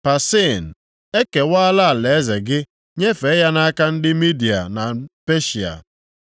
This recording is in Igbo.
“Parsin, ekewala alaeze gị nyefee ya nʼaka ndị Midia na Peshịa.”